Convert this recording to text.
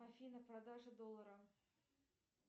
афина продажа доллара